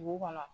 Dugu kɔnɔ